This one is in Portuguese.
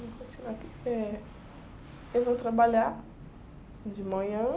Minha rotina aqui é... Eu vou trabalhar de manhã.